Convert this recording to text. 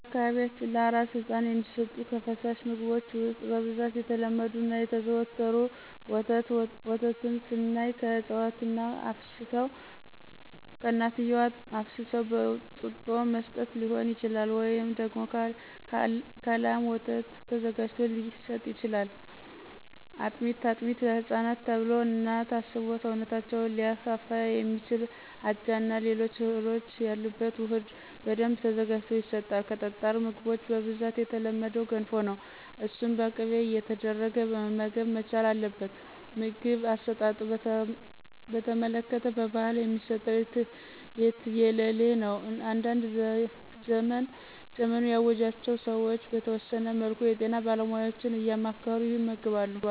በአካባቢያችን ለአራስ ህፃን የሚሰጡ ከፈሳሽ ምግቦች ውስጥ በብዛት የተለመዱት እና የተዘወተሩት፦ ፩) ወተት፦ ወተትን ስናይ ከእናትየዋ አፍስሰው በጡጦ መስጠት ሊሆን ይችላል፤ ወይም ደግሞ ከላም ወተት ተዘጋጅቶ ሊሰጥ ይችላል። ፪) አጥሜት፦ አጥሜት ለህፃናት ተብሎ እና ታስቦ ሰውነታቸውን ሊያፋፋ የሚችል አጃ እና ሌሎች እህሎች ያሉበት ውህድ በደንብ ተዘጋጅቶ ይሰጣል። ከጠጣር ምግቦች በብዛት የተለመደው ገንፎ ነው እሱን በቅቤ እየተደረገ መመገብ መቻል አለበት። የምግብ አሰጣጥን በተመለከተ በባህል የሚሰጠው የትየለሌ ነው። አንዳንድ ዘመኑ ያዋጃቸው ሰዎች በተወሰነ መልኩ የጤና ባለሙያዎችን እያማከሩ ይመግባሉ።